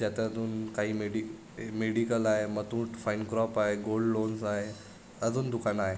ज्यात दोन काही मेडि मेडिकल आहे Muthoot fine craft gold loans आहे अजुन दुकान आहे.